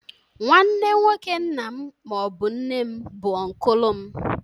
Nwanne nwoke nna m ma ọ bụ nne m bụ Ọnkụlụ m.